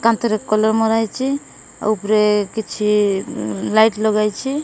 କାନ୍ଥରେ କଲର ମାରାହେଇଚି ତା ଉପରେ କିଛି ଲାଇଟ୍ ଲଗାହେଇଛି।